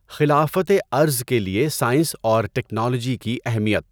خلافت ارض کے لیے سائنس اور ٹکنالوجی کی اہمیت